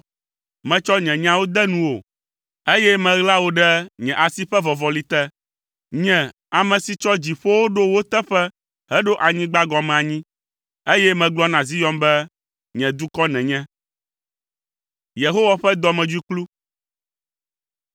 Metsɔ nye nyawo de nuwò, eye meɣla wò ɖe nye asi ƒe vɔvɔli te. Nye ame si tsɔ dziƒowo ɖo wo teƒe heɖo anyigba gɔme anyi, eye megblɔ na Zion be, ‘Nye dukɔ nènye.’ ”